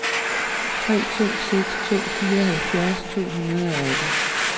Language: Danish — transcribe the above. tre to seks to fireoghalvfjerds to hundrede og atten